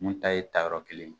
Mun ta ye tayɔrɔ kelen